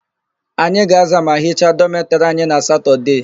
Anyị ga-aza ma hicha dọmetịrị anyị na satọdee.